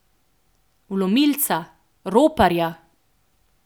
Vlomilca, roparja.